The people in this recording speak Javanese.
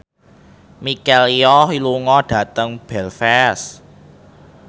Michelle Yeoh lunga dhateng Belfast